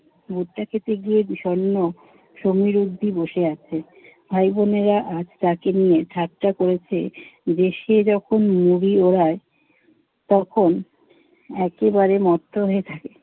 ভুট্টা খেতে গিয়ে বিষণ্ণ সমীর অবধি বসে আছে। ভাই-বোনেরা আজ তাকে নিয়ে ঠাট্টা করেছে যে সে যখন যখন উড়ায় তখন একেবারে মত্ত হয়ে থাকে।